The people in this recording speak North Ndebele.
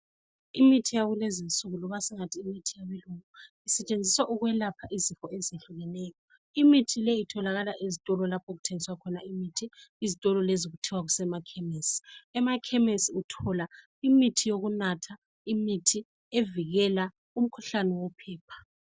Imithi yakulezi nsuku loba singathi imithi yabelungu isetshenziswa ukwelapha izifo ezitshiyeneyo imithi le itholakala ezitolo lapho okuthengiswa khona imithi izitolo lezo kuthwa kusemakhemesi emakhemesi uthola imithi yokunatha imithi evikela umkhuhlane wophepha.